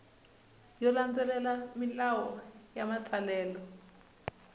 yo landzelela milawu ya matsalelo